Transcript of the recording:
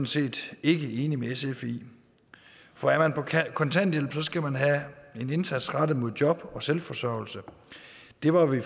set ikke enig med sf i for er man på kontanthjælp skal man have en indsats rettet mod job og selvforsørgelse det var vi